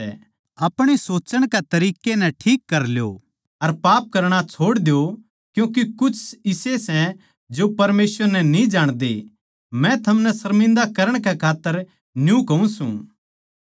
अपणे सोच्चण के तरिक्कें नै ठीक कर ल्यो अर पाप करणा छोड़ द्यो क्यूँके कुछ इसे सै जो परमेसवर नै न्ही जाणदे मै थमनै सर्मिन्दा करण कै खात्तर न्यू कहूँ सूं